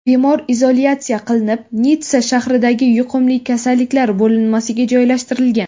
Bemor izolyatsiya qilinib, Nitssa shahridagi yuqumli kasalliklar bo‘linmasiga joylashtirilgan.